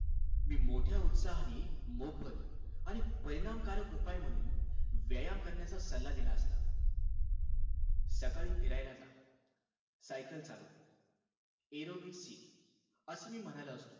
मी मोठ्या उत्साहाने मोफत आणि परिणामकारक उपाय म्हणून व्यायाम करण्याचा सल्ला दिला असता. सकाळी फिरायला जा. सायकल चालव, aerobics शिक, असे मी म्हणालो असतो.